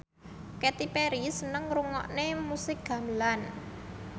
Katy Perry seneng ngrungokne musik gamelan